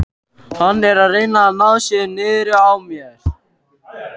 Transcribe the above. Hann er að reyna að ná sér niðri á mér.